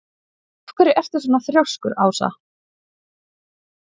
Af hverju ertu svona þrjóskur, Ása?